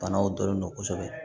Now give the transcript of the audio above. Banaw dɔnnen don kosɛbɛ